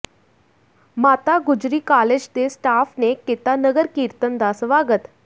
ਮਾਤਾ ਗੁਜਰੀ ਕਾਲਜ ਦੇ ਸਟਾਫ ਨੇ ਕੀਤਾ ਨਗਰ ਕੀਰਤਨ ਦਾ ਸਵਾਗਤ